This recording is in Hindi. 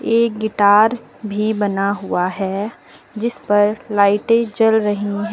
एक गिटार भी बना हुआ है जिसपर लाइटे जल रही है।